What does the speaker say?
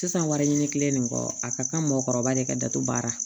Sisan wariɲini kile nin kɔ a ka kan mɔgɔkɔrɔba le ka datugu baara